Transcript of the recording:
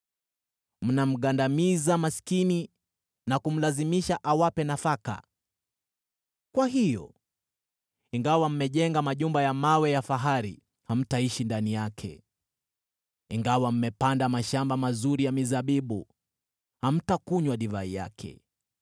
Mnamgandamiza maskini na kumlazimisha awape nafaka. Kwa hiyo, ingawa mmejenga majumba ya mawe ya fahari, hamtaishi ndani yake; ingawa mmepanda mashamba mazuri ya mizabibu, hamtakunywa divai yake.